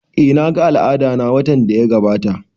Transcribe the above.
Eh na ga al'adana watan da ya gabata